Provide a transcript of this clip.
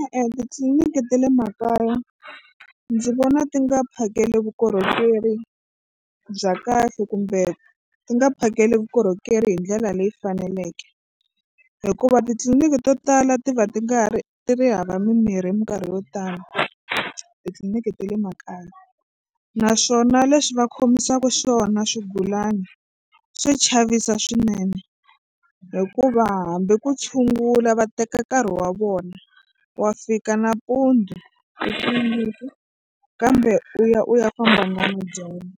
E-e titliliniki ta le makaya ndzi vona ti nga phakeli vukorhokeri bya kahle kumbe ti nga phakeli vukorhokeri hi ndlela leyi faneleke hikuva titliliniki to tala ti va ti nga ri ti ri hava mimirhi hi mikarhi yo tala titliliniki ta le makaya naswona leswi va khomisaka xiswona swigulana swa chavisa swinene hikuva hambi ku tshungula va teka nkarhi wa vona wa fika nampundzu kambe u ya u ya famba namadyambu